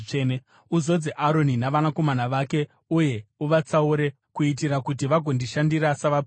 “Uzodze Aroni navanakomana vake uye uvatsaure kuitira kuti vagondishandira savaprista.